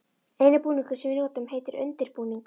eini búningurinn sem við notum heitir undir-búningur.